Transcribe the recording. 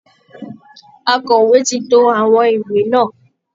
Akọ̀wé ti to àwọn ìwé náà